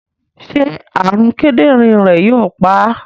Ṣé àrùn kíndìnrín rẹ̀ yóò pa á?